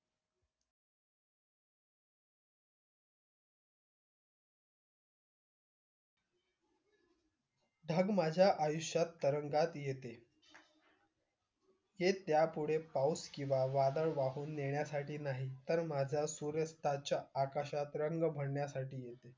ढग माझ्या आयुष्यात तरंगात येते हे त्या पुढे पाऊस किव्हा वादळ वाहून नेण्यासाठी नाही तर माझ्या सूर्यास्ताच्या आकाशात रंग भरण्यासाथी येते